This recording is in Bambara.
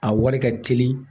A wari ka teli